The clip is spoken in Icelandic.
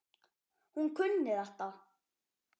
Hún kunni þetta.